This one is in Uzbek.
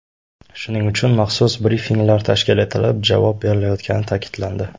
Shuning uchun maxsus brifinglar tashkil etilib, javob berilayotgani ta’kidlandi.